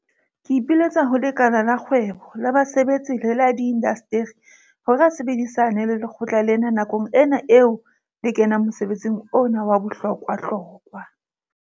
Ke ipiletsa ho lekala la kgwebo, la basebetsi le la diinasteri hore a sebedisane le lekgotla lena nakong ena eo le kenang mosebetsing ona wa bohlokwahlokwa.